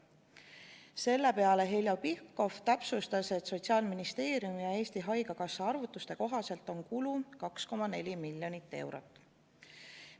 Selle peale Heljo Pikhof täpsustas, et Sotsiaalministeeriumi ja Eesti Haigekassa arvutuste kohaselt on kulu 2,4 miljonit eurot.